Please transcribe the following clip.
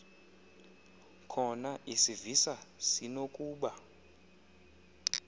khona isivisa sinokuba